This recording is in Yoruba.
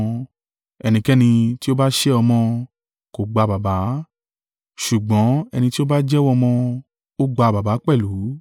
Ẹnikẹ́ni tí o ba sẹ́ Ọmọ, kò gba Baba; ṣùgbọ́n ẹni tí ó ba jẹ́wọ́ Ọmọ, ó gba Baba pẹ̀lú.